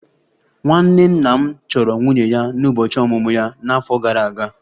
Nwanne nna m chọrọ nwunye ya n'ụbọchị ọmụmụ ya n'afọ gara aga